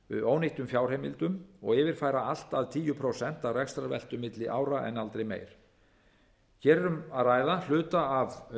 ónýttum fjárheimildum og yfirfæra allt að tíu prósent af rekstrarveltu milli ára en aldrei meira hér er um að ræða hluta af